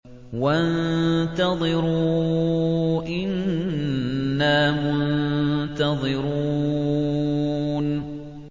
وَانتَظِرُوا إِنَّا مُنتَظِرُونَ